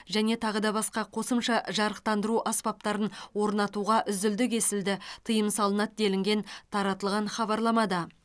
және тағы да басқа қосымша жарықтандыру аспаптарын орнатуға үзілді кесілді тыйым салынады делінген таратылған хабарламада